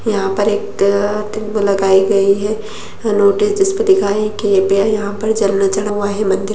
यहाँ पे एक अ- लगायी गयी है नोटिस जिसपे लिखा है कृपया यहाँ पर जल न चढ़वाएं मंदिर --